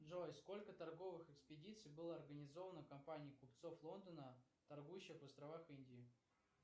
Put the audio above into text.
джой сколько торговых экспедиций было организовано компанией купцов лондона торгующих на островах индии